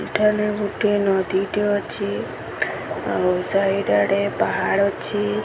ଏଠାରେ ଗୋଟିଏ ନଦୀ ଟେ ଅଛି ଆଉ ସାଇଡ ଆଡ଼େ ପାହାଡ଼ ଅଛି।